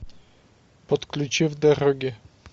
подключи в дороге